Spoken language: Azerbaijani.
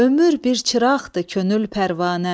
Ömür bir çıraqdır, könül pərvanə.